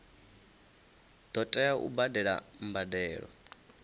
ḓo tea u badela mbadelo